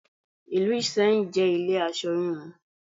Ìlú Ìsẹ́yìn jẹ́ ilé aṣọ híhun.